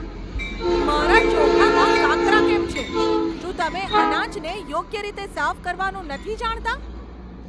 મારા ચોખામાં કાંકરા કેમ છે? શું તમે અનાજને યોગ્ય રીતે સાફ કરવાનું નથી જાણતા?